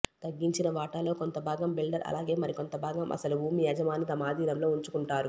తగ్గించిన వాటాలో కొంత భాగం బిల్డర్ అలాగే మరికొంత భాగం అసలు భూమి యజమాని తమ అధీనంలో ఉంచుకుంటారు